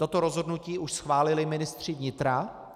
Toto rozhodnutí už schválili ministři vnitra.